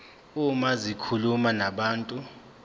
uma zikhuluma nabantu